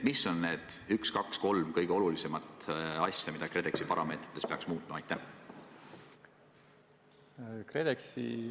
Mis on need üks, kaks või kolm kõige olulisemat asja, mida KredExi parameetrite puhul peaks muutma?